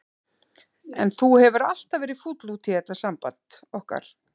En þú hefur alltaf verið fúll út í þetta samband okkar.